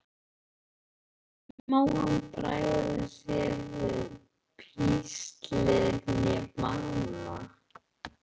Hvorki má hann bregða sér við píslir né bana.